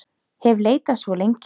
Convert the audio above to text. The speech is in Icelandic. hef leitað svo lengi.